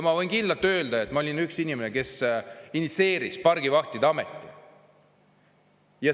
Ma võin ka kinnitada, et ma olin üks inimene, kes initsieeris pargivahtide ameti.